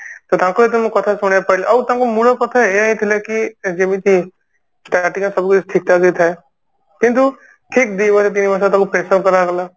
ତ ତାଙ୍କ କଥା ଯେତେବେଳେ ମୁଁ ଶୁଣିବାକୁ ପାଇଲି ଆଉ ତାଙ୍କ ମୂଳ କଥା ଏୟା ହି ଥିଲା କି ଯେମିତି starting ଟା ସବୁ କିଛି ଠିକଠାକ ହି ଥାଏ କିନ୍ତୁ ଠିକ ଦିମାସ ତିନିମାସ ତାକୁ pressure କରାଗଲା